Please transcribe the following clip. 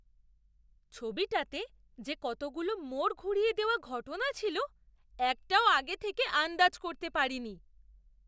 ছবিটাতে যে কতগুলো মোড় ঘুরিয়ে দেওয়া ঘটনা ছিল! একটাও আগে থেকে আন্দাজ করতে পারিনি।